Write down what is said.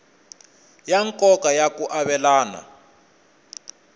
ya nkoka ya ku avelana